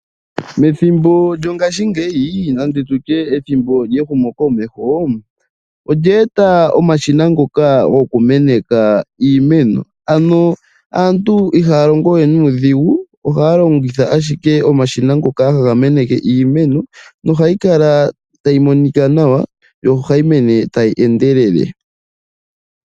Methimbo lyongashngeyi nande tutye ethimbo lyehumo komeho .Olye eta omashina ngoka gokumeneka iimeno .Mongashingeyi aantu ihaya longo we nuudhigu ohaya longitha ashike omashina ngoka haga meneke iimeno nohayi kala tayi monika nawa nohayi mene tayi endelele.